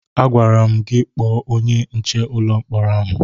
Agwara m gị kpọọ onye nche ụlọ mkpọrọ ahụ!